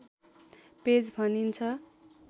page भनिन्छ